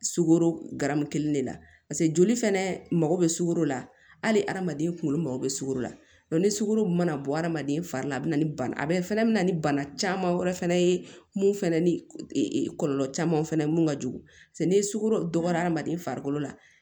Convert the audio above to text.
Sukoro garamu kelen de la paseke joli fɛnɛ mago bɛ sugoro la hali hadamaden kunkolo mago be sukoro la ni sugoro mana bɔ adamaden fari la a bi na ni bana fɛnɛ be na ni bana caman wɛrɛ fɛnɛ ye mun fɛnɛ ni kɔlɔlɔ caman fɛnɛ mun ka jugu paseke ni sugoro dɔgɔden farikolo la